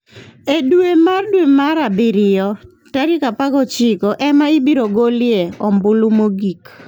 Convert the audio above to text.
E dwe mar dwe mar abirio tarik 19 ema ibiro golie ombulu mogik.